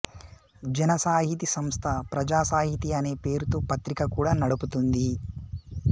జన సాహితి సంస్థ ప్రజాసాహితి అనే పేరుతో పత్రిక కూడా నడుపుతోంది